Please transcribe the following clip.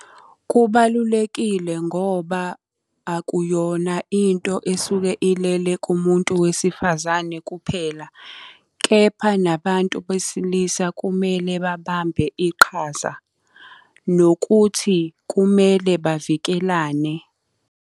Kubalulekile ngoba akuyona into esuke ilele kumuntu wesifazane kuphela, kepha nabantu besilisa kumele babambe iqhaza. Nokuthi kumele bavikelane.